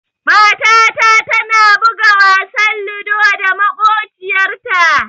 Matata tana buga wasan ludo da maƙociyarta.